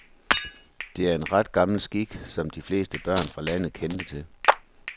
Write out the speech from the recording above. Det er en ret gammel skik, som de fleste børn fra landet kendte til.